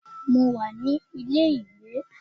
Mo wà ní ilé ìgbé.